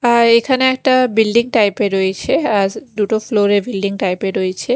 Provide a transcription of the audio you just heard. আর এখানে একটা building type -এর রয়েছে আজ দুটো ফ্লোর -এ বিল্ডিং টাইপ -এ রয়েছে।